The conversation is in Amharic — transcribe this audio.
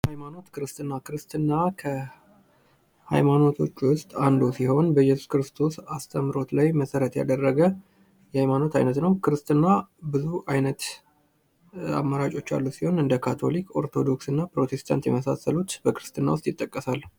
ሃይማኖትክርስትና ክርስትና ከሃይማኖቶች ውስጥ አንዱ ሲሆን በኢየሱስ ክርስቶስ አስተምህሮት ላይ መሠረት ያደረገ የሃይማኖት አይነት ነው። ክርስትና ብዙ አይነት አማራጮች ያሉት ሲሆን እንደ ካቶሊክ ፣ኦርቶዶክስ እና ፕሮቴስታንት የመሳሰሉት ለክርስትና ውስጥ ይጠቀሳሉ።